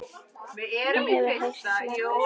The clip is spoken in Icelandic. Hún hefur heyrt margar sögur.